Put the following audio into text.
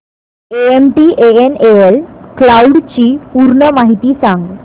MTNL cloud ची पूर्ण माहिती सांग